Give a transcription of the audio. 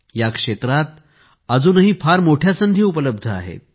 या क्षेत्रात अजूनही फार मोठ्या संधी उपलब्ध आहेत